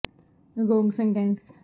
ਇਹ ਜ਼ਰੂਰੀ ਹੈ ਕਿ ਇਸ ਨੂੰ ਵਿਸਥਾਰ ਠੋਸ ਘੰਟੇ ਦਾ ਸੀ